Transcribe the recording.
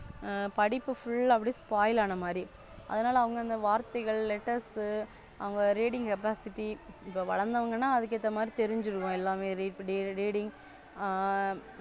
படிப்பு Full அப்படி Spoil ஆன மாதிரி. அதனால அவங்க அந்த வார்த்தைகள் Letters அவங்க Reading capacity இப்ப வளர்ந்தவங்கன்னா அதுக்கு ஏத்த மாதிரி தெரிஞ்சுருக்கும் எல்லாமே Reading ஆ.